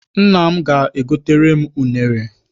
Nna m ga-egotere m unere.